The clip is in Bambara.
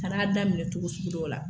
Ka n'a daminɛ cogo sugu dɔw la.